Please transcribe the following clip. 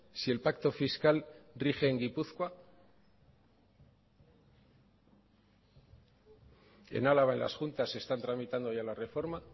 si el pacto fiscal rige en gipuzkoa en álava en las juntas están tramitando ya la reforma